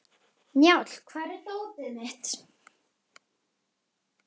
Njáll, hvar er dótið mitt?